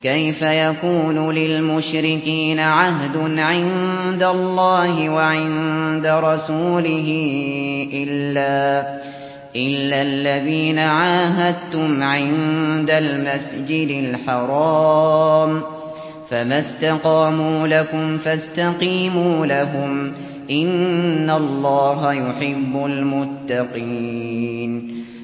كَيْفَ يَكُونُ لِلْمُشْرِكِينَ عَهْدٌ عِندَ اللَّهِ وَعِندَ رَسُولِهِ إِلَّا الَّذِينَ عَاهَدتُّمْ عِندَ الْمَسْجِدِ الْحَرَامِ ۖ فَمَا اسْتَقَامُوا لَكُمْ فَاسْتَقِيمُوا لَهُمْ ۚ إِنَّ اللَّهَ يُحِبُّ الْمُتَّقِينَ